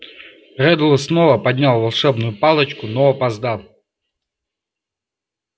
реддл снова поднял волшебную палочку но опоздал